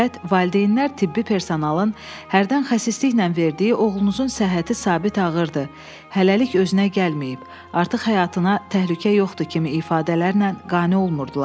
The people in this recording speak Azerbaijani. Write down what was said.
Fəqət valideynlər tibbi personalın hərdən xəsisliklə verdiyi oğlunuzun səhhəti sabit ağırdır, hələlik özünə gəlməyib, artıq həyatına təhlükə yoxdur kimi ifadələrlə qane olmurdular.